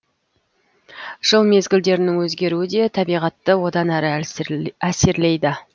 жыл мезгілдерінің өзгеруі де табиғатты одан әрі әсерлейді